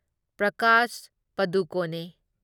Prakash ꯄꯗꯨꯀꯣꯅꯦ